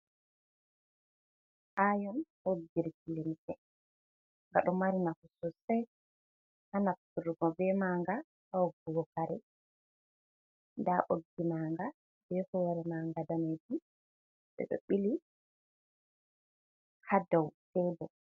Aion woggirki limse nga ɗo mari nafu sosai hanafturgo be manga wogggugo kare nda ɓoggi manga be hore manga damejum ɓe ɗo ɓili hadau cedo.